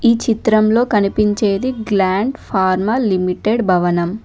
ఈ చిత్రంలో కనిపించేది గ్లాండ్ ఫార్మల్ లిమిటెడ్ భవనం.